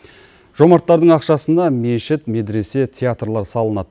жомарттардың ақшасына мешіт медресе театрлар салынады